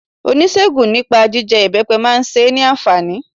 Oníṣègùn nipé jije ibepe ma se é ni ànfàní